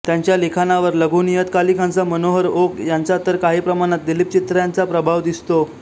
त्यांच्या लिखाणावर लघुनियतकालिकांचा मनोहर ओक यांचा तर काही प्रमाणात दिलीप चित्र्यांचा प्रभाव दिसतो